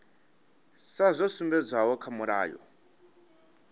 sa zwo sumbedzwaho kha mulayo